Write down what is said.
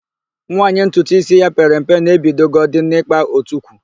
Nwaanyị ntutuísí ya pere mpe na-ebidogodi n'ịkpa otukwu.